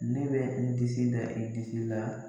Ne bɛ n disi da i disi la.